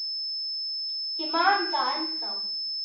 Ég man það ennþá.